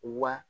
Wa